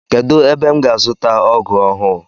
Kedụ ebe m ga azuta ọgụ ọhụụ?